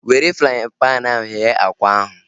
Were fraaịn panu ahu ghee akwa ahu